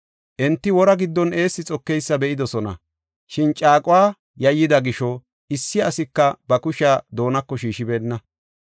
Enti wora giddon eessi xokeysa be7idosona; shin caaquwa yayyida gisho, issi asika ba kushiya doonako shiishibenna.